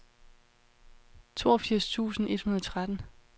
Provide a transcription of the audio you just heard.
toogfirs tusind et hundrede og tretten